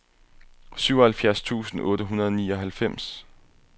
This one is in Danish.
syvoghalvfjerds tusind otte hundrede og nioghalvfems